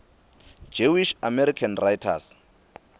jewish american writers